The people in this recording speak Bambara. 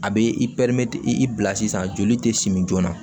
A bɛ i pɛrimete i bila sisan joli tɛ simin joona